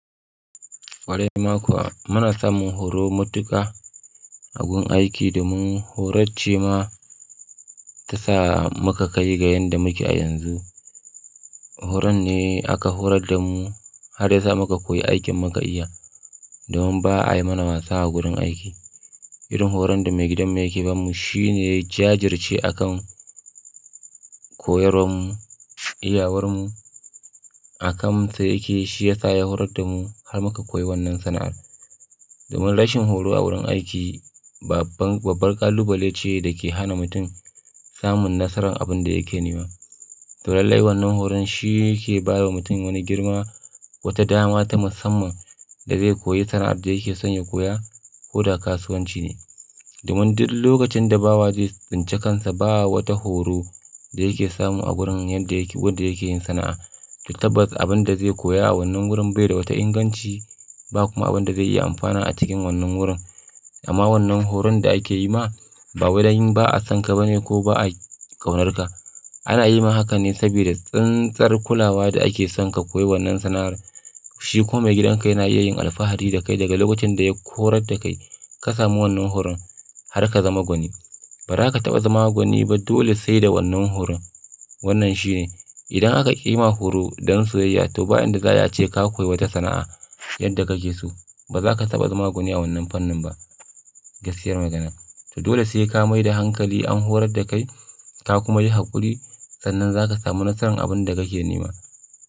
Kwarai ma kuwa, muna samun horo matuka a gun aiki domin horarce ma ta sa muka kai ga yadda muke a yanzu. Horon ne aka horar da mu har ya sa muka koyi aikin muka iya, domin ba a yi mana wasa a gurin aiki. Irin horon da maigidan yake ɓamu shine jajirce a kan koyarwar mu, iyawar mu a kan sa yake. Shi ya sa ya horar da mu har muka koyi wannan sana'ar. Domin rashin horo a wurin aiki babban babbar ƙalubale ce da ke hana mutum samun nasarar abin da yake nema. To laillai wannan horon shi yake ba wa mutum wani girma, wata dama ta musamman da zai koyi sana'ar da yake son ya koya ko da kasuwanci ne. Domin duk lokacin da bawa zai tsince kansa ba wata horo da yake samu a wurin yadda yake, wanda yake yin sana'a. Tabbas abin da zai koya a wannan wurin bai da wata inganci ba kuma abin da zai iya amfana a cikin wannan wurin. Amma wannan horon da ake yi ma ba wai don ba a san ka ba ne ko ba a kaunar ka. Ana yi ma hakan ne saboda tsintsar kulawa da ake son ka koyi wannan sana'ar. Shi kuma maigidan ka yana iya yin alfahari da kai daga lokacin da ya horar da kai ka samu wannan horon har ka zama gwani. Ba za ka taɓa zama gwani ba dole sai da wannan horon. Wannan shi ne idan aka ƙi ma horo don soyayya to bayan da za a ce ka koyi wata sana'a yanda kake so, ba za ka taɓa zama gwani a wannan fannin ba. Gaskiyar magana. To dole sai ka mai da hankali an horar da kai ka kuma yi haƙuri sannan za ka samu nasarar abin da kake nema.